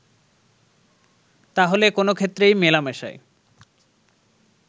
তাহলে কোন ক্ষেত্রেই মেলামেশায়